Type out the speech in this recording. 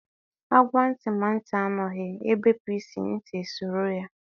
A gwa ntị ma ntị anụghị, ebepu isi, ntị esoro ya